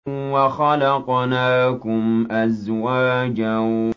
وَخَلَقْنَاكُمْ أَزْوَاجًا